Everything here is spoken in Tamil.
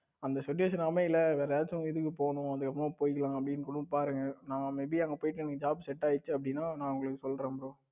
இந்த situation அமையல வேற ஏதாச்சும் இதுக்கு போனும் அப்படி வரும்போது போய்க்கலாம் அப்படின்னு கூட பாருங்க. நான் may be அங்கு போயிட்டு உங்களுக்கு job set ஆயிடுச்சுஅப்டினா நான் உங்களுக்கு சொல்றேன் bro